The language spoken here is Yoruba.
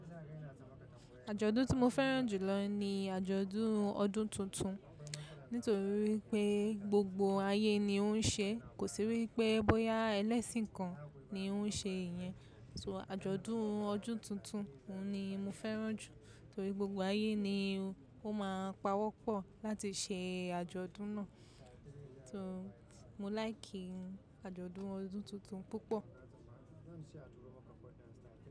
Àjọ̀dún tí mo fẹ́ràn jù lọ ni àjọ̀dún ọdún tuntun nítorí wi pé gbogbo ayé ni ó ń ṣe, kò sí wípé bóyá ẹlẹ́sìn kan ni ó ń ṣe ìyẹn. So àjọ̀dún ọdún tuntun ni mo fẹ́ràn jù nítorí gbogbo ayé ni ó máa ń pawọ́pọ̀ láti ṣe àjọ̀dún náà so mo láìkì àjọ̀dún ọdún tuntun púpọ̀.